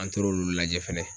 An tor'olu lajɛ fɛnɛ